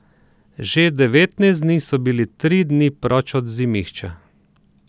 Že devetnajst dni so bili tri dni proč od Zimišča.